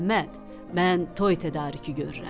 Əhməd, mən toy tədarükü görürəm.